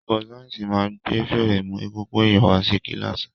Olùkó sáyẹ́nsì ma gbé férémù egungun èyàn wá sí kílàsì.